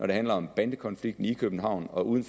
det handler om bandekonflikten i københavn og uden